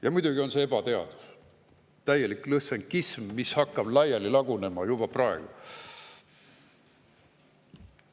Ja muidugi on see ebateadus, täielik lõssenkism, mis hakkab laiali lagunema juba praegu.